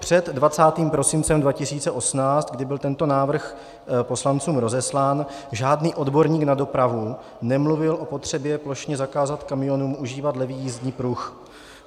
Před 20. prosincem 2018, kdy byl tento návrh poslancům rozeslán, žádný odborník na dopravu nemluvil o potřebě plošně zakázat kamionům užívat levý jízdní pruh.